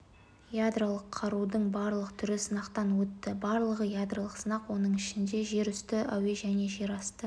ядролық қарудың барлық түрі сынақтан өтті барлығы ядролық сынақ оның ішінде жерүсті әуе және жерасты